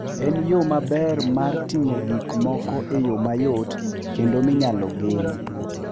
En yo maber mar ting'o gik moko e yo mayot kendo minyalo gen.